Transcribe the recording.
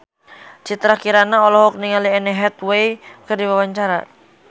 Citra Kirana olohok ningali Anne Hathaway keur diwawancara